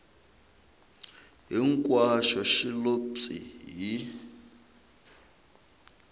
hinkwaxo xi lo pyi hi